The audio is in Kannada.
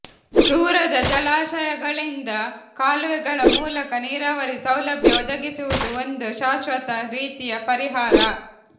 ದೂರದ ಜಲಾಶಯಗಳಿಂದ ಕಾಲುವೆಗಳ ಮೂಲಕ ನೀರಾವರಿ ಸೌಲಭ್ಯ ಒದಗಿಸುವುದು ಒಂದು ಶಾಶ್ವತ ರೀತಿಯ ಪರಿಹಾರ